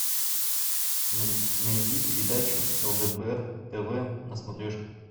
найди передачу лдпр тв на смотрешке